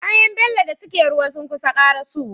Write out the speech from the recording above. Kayan bello da suke ruwa sunkusa karaso wa